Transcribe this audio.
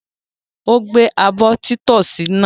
Ó gbé abọ́ títọ́sì náà?